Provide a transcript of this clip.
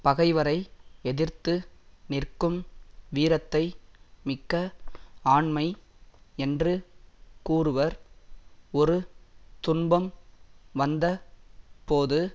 பகைவரை எதிர்த்து நிற்க்கும் வீரத்தை மிக்க ஆண்மை என்று கூறுவர் ஒரு துன்பம் வந்த போது